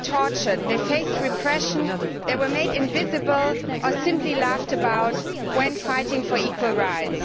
They were tortured, they faced repression, they were made invisible or simply laughed about when fighting for equal rights.